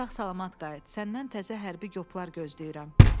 Sağ-salamat qayıt, səndən təzə hərbi qoplar gözləyirəm.